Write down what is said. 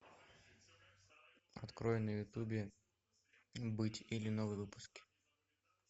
открой на ютубе быть или новые выпуски